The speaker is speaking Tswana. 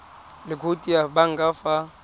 le khoutu ya banka fa